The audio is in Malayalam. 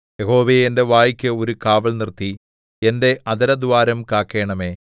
യഹോവേ എന്റെ വായ്ക്ക് ഒരു കാവൽ നിർത്തി എന്റെ അധരദ്വാരം കാക്കണമേ